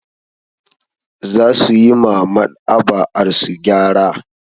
Za su yi ma Maɗ'aba'arsu gyara.